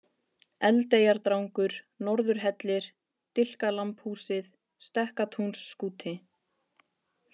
Eldeyjardrangur, Norðurhellir, Dilkalambhúsið, Stekkatúnsskúti